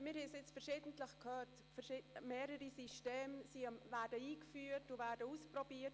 Wie wir schon ein paarmal gehört haben, werden zurzeit mehrere Systeme eingeführt und getestet.